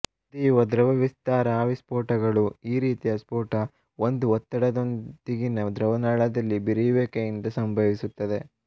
ಕುದಿಯುವ ದ್ರವ ವಿಸ್ತಾರ ಆವಿ ಸ್ಫೋಟಗಳು ಈ ರೀತಿಯ ಸ್ಫೋಟ ಒಂದು ಒತ್ತಡದೊಂದಿಗಿನ ದ್ರವ ನಾಳದಲ್ಲಿ ಬಿರಿಯುವಿಕೆ ಇಂದ ಸಂಭವಿಸುತ್ತದ್ದೆ